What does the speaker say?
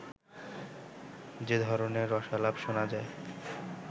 যে ধরনের রসালাপ শোনা যায়